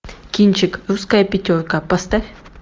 кинчик русская пятерка поставь